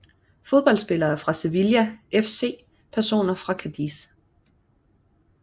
Fodboldspillere fra Sevilla FC Personer fra Cádiz